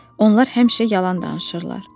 Onlar həmişə yalan danışırlar.